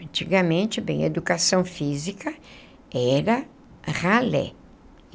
Antigamente, bem, educação física era ralé.